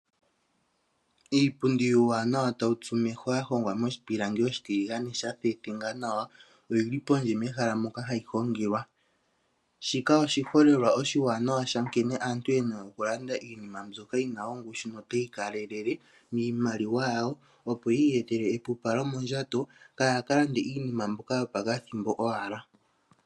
Iipundi iwanawa tawu tsumeho ya hongwa moshi pilangi oshitiligane sha thethenga nawa oyili pondje mehala moka hayi longelwa. Shika oshiholelwa oshiwanawa sha nkene aantu yena okulanda iinima ndyoka yina ongushu notayi kalelele miimaliwa yawo opo yi iyetele epupalo mondjato kayaka lande iinima ndyoka yopa kathimbo owala.